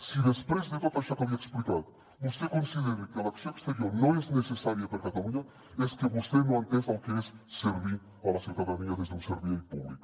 si després de tot això que li he explicat vostè considera que l’acció exterior no és necessària per a catalunya és que vostè no ha entès el que és servir a la ciutadania des d’un servei públic